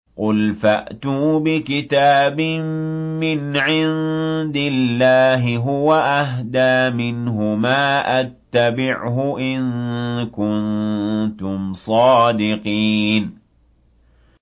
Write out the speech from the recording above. قُلْ فَأْتُوا بِكِتَابٍ مِّنْ عِندِ اللَّهِ هُوَ أَهْدَىٰ مِنْهُمَا أَتَّبِعْهُ إِن كُنتُمْ صَادِقِينَ